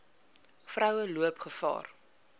vroue loop gevaar